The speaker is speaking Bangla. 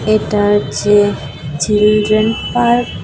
এটা যে চিলড্রেন পার্ক ।